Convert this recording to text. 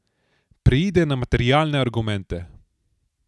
Preide na materialne argumente.